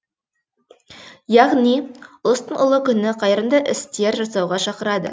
яғни ұлыстың ұлы күні қайырымды істер жасауға шақырады